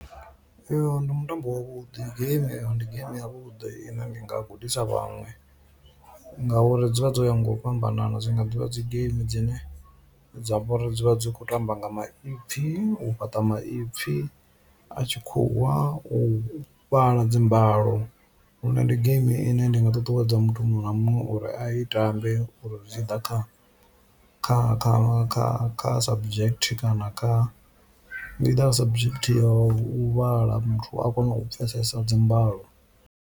Uyo ndi mutambo wa vhuḓi game eyo ndi game ya vhuḓi ine ndi nga gudisa vhaṅwe ngauri dzi vha dzo ya nga u fhambanana dzi nga ḓivha dzi geimi dzine dza vhori dzi kho tamba nga maipfhi o fhaṱa maipfhi a tshikhuwa u fhala dzimbalo, lune ndi geimi ine ndi nga ṱuṱuwedza muthu muṅwe na muṅwe uri a i tambe uri zwi tshi ḓa kha kha kha kha kha subject kana kha either subject ya u vhala muthu a kone u pfhesesa dzi mbalo.